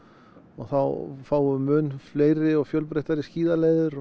þá fáum við mun fleiri og fjölbreyttari